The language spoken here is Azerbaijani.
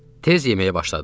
Tez yeməyə başladıq.